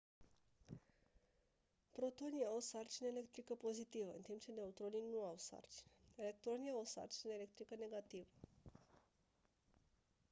protonii au o sarcină electrică pozitivă în timp ce neutronii nu au sarcină electronii au o sarcină electrică negativă